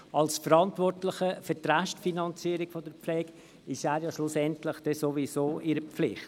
Als Verantwortlicher für die Restfinanzierung der Pflege ist der Kanton am Ende sowieso in der Pflicht.